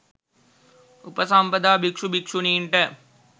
උපසම්පදා භික්ෂු භික්ෂුණීන්ට